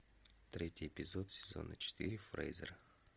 третий эпизод сезона четыре фрейзер